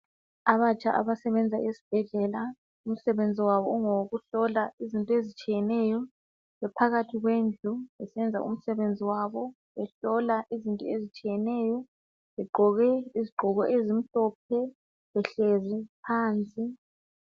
Abatsha abasebenza ezibhedlela umsebenzi wabo ungowokuhlola izinto ezitshiyeneyo bephakathi kwendlu besenza umsebenzi wabo, behlola izinto ezitshiyeneyo begqoke izigqoko ezimhlophe behlezi phansi.